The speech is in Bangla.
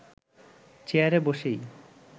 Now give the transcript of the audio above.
চেয়ারে বসেই